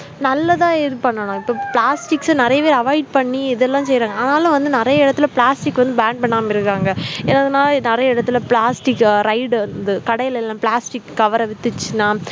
நல்லதா இது பண்ணனும் இப்ப plastics நிறையவே avoid பண்ணி இதெல்லாம் செய்றாங்க ஆனாலும் வந்து நிறைய இடத்துல plastic வந்து ban பண்ணாம இருக்காங்க என்னதுனா நிறைய இடத்துல plastic அஹ் raid வந்து கடையில எல்லாம plastic cover அ வித்துச்சுன்னா